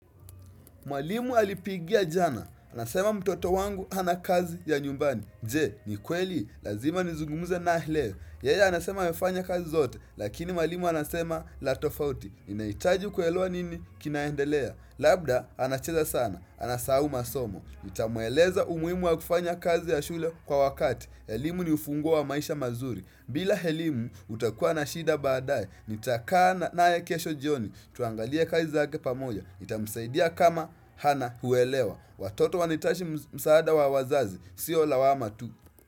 Mwalimu alipigia jana. Anasema mtoto wangu hana kazi ya nyumbani. Je, ni kweli. Lazima nizungumuze naye hii leo. Yeye anasema amefanya kazi zote. Lakini mwalimu anasema la tofauti. Inahitaji kuelewa nini kinaendelea. Labda, anacheza sana. Anasahau masomo. Nitamueleza umuhimu wa kufanya kazi ya shule kwa wakati elimu ni ufunguo wa maisha mazuri bila elimu utakuwa na shida baadaye Nitakaa naye kesho jioni tuangalie kazi zake pamoja Itamsaidia kama Hana huelewa Watoto wanahitaji msaada wa wazazi Sio lawama tu.